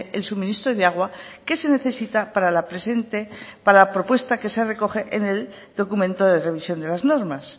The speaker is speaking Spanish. el suministro de agua que se necesita para la presente para la propuestas que se recoge en el documento de revisión de las normas